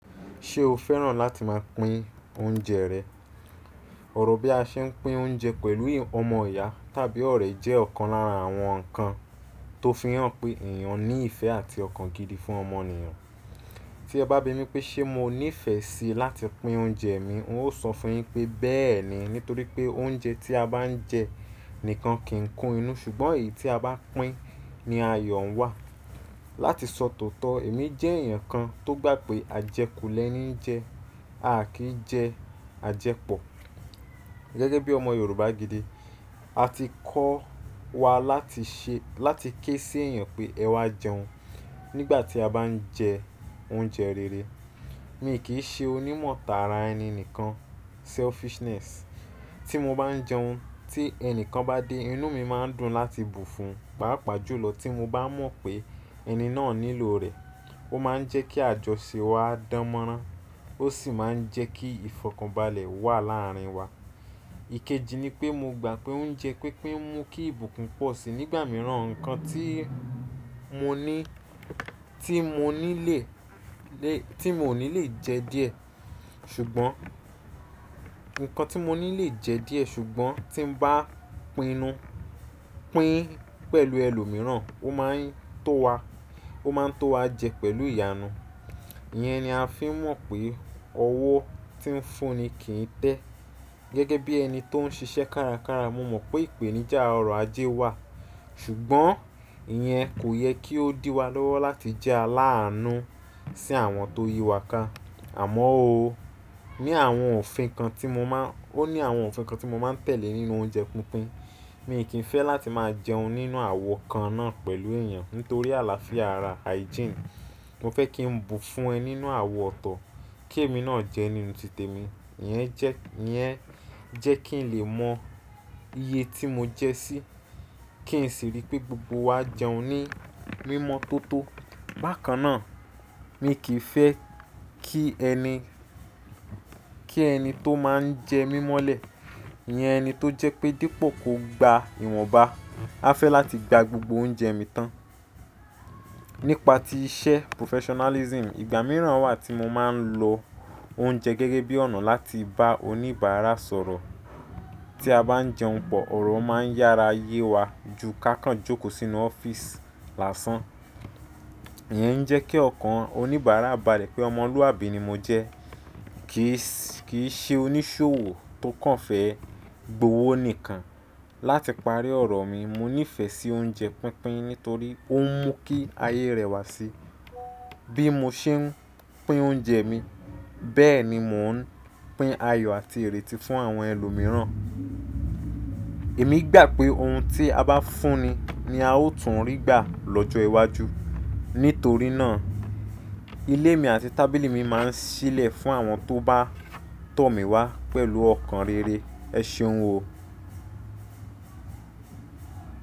Ṣé o fẹ́ràn láti máa pín oúnjẹ rẹ̀? Òrò bí a ṣe ń pín oúnjẹ pẹ̀lú ọmọ ìyá tàbí ọ̀rẹ́ jẹ́ ọ̀kan lára àwọn nǹkan tó fi hàn pé èèyàn ní ìfẹ́ àti ọ̀kan gidi fún ọmọnìyàn. Tí ẹ bá bi mí pé ṣe mo níìfẹ̀ síi láti pín oúnjẹ mi, n óò sọ fún yín pé bẹ́ẹ̀ ni. Nítorí pé oúnjẹ tí a bá ń jẹ nìkan kì í kún inú, ṣùgbọ́n èyí tí a bá pín ni ayọ̀ ń wà. Láti sọ tòótọ́, èmi jẹ́ èèyàn kan tó gbà pé à jẹ kù lẹ́ní jẹ, a kì í jẹ à jẹ pọ̀. Gẹ́gẹ́ bí ọmọ Yorùbá gidi, a ti kọ́ wa láti ṣe, láti ké sí èèyàn pé ẹ wá jẹun. Nígbà tí a bá ń jẹ oúnjẹ rere, mi kì í ṣe onímọ̀tara ẹni nìkan, selfishness. Tí mo bá ń jẹun, tí ẹni kan bá dé, inú mi máa ń dùn láti bu fún, paa pàjùlọ tí mo bá mọ̀ pé ẹni náà nílò rẹ̀. Ó máa ń jẹ́ kí àjọṣe wa dánmọ́rán, ó sì máa ń jẹ́ kí ìfọ̀kànbalẹ̀ wà láàárín wa. Ikeji ni pé mo gbà pé oúnjẹ pínpín mú kí ìbùkún pọ̀ sí i. Nígbà mìíràn nǹkan tí mo ní, tí mo ní lè, lè, tí mo ní lè jẹ díẹ̀, ṣùgbọ́n, ǹkan tí mo ní lè jẹ díẹ̀ ṣùgbọ́n tí mo bá pinu, pín pẹ̀lú ẹlòmíràn, ó máa ń tó wa, ó máa ń tó wa jẹ pẹ̀lú ìyanu. Iyẹn ni a fi ń mọ̀ pé ọwọ́ tí ń fún ni kì í tẹ́. Gẹ́gẹ́ bí ẹni tó ń ṣiṣẹ́ kárakára, mo mọ̀ pé ìpèníjà ọrọ̀ ajé wà, ṣùgbọ́n ìyẹn kò yẹ kí ó dí wa lọ́wọ́ láti jẹ́ aláàánú sí àwọn tó yí wa ká. Àmọ́ óóó, ní àwọn òfin kan tí mo máa, ó ní àwọn òfin kan tí mo máa ń tẹ̀lé nínú oúnjẹ pínpín. Mi kì í fẹ́ láti máa jẹun nínú àwo kan náà pẹ̀lú èèyàn nítorí àlàáfíà ara, hygiene. Mo fẹ́ kí n bú fún ẹ nínú àwo ọ̀tọ̀, kí èmi náà jẹ nínú ti tèmi. Iyẹn jẹ́, iyẹn jẹ́ kí n lè mọ iye tí mo jẹ sí, kí n sì rí pé gbogbo wa jẹun ní mímọ́ tó tó. Bákan náà, mi kì í fẹ́ kí ẹni, kí ẹni tó máa ń jẹ mímọ́lẹ̀, iyẹn ẹni tó jẹ́ pé dípò kó gba ìwọ̀nba, a fẹ́ láti gba gbogbo oúnjẹ mi tán. Nípa ti iṣẹ́ professionalism, ìgbà mìíràn wà tí mo máa ń lo oúnjẹ gẹ́gẹ́ bí ọ̀nà láti bá oníbàárà sọ̀rọ̀. Tí a bá ń jẹun pọ̀, ọ̀rọ̀ máa ń yára ye wa ju kákàn jókòó sínú ọ́fíìsì lásán. Iyẹn ń jẹ́ kí ọ̀kan oníbàárà bà lé pé ọmọlúàbí ni mo jẹ́. Kì í sì, kì í ṣe oníṣòwò tó kàn fẹ́ gbówó nìkan. Láti parí ọ̀rọ̀ mi, mo nífẹ̀ẹ́ sí oúnjẹ pínpín nítorí ó ń mú kí ayé rẹwà sí i. Bí mo ṣe ń pín oúnjẹ mi, bẹ́ẹ̀ ni mò ń pín ayọ̀ àti ìrètí fún àwọn ẹlòmíràn. Èmi gbà pé ohun tí a bá fún ni ni a ó tún rí gbà lọ́jọ́ iwájú. Nítorí náà ilé mi àti tábìlì mi máa ń ṣílẹ̀ fún àwọn tó bá tọ̀ mí wá pẹ̀lú ọkàn rere. Ẹ ṣeun o.